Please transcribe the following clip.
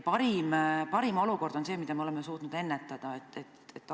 Parim olukord on see, et me oleme suutnud selliseid juhtumeid ennetada.